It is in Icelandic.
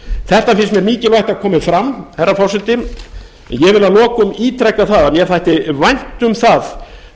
þetta finnst mér mikilvægt að komi fram herra forseti ég vil að lokum ítreka það að mér þætti vænt um það